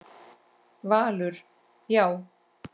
Valur: Já.